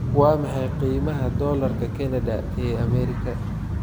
Waa maxay qiimaha Doolarka Kanada ee Ameerika?